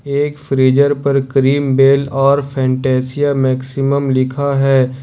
एक फ्रीजर पर Cream Bell और फंतासिया मैक्सिमम लिखा है।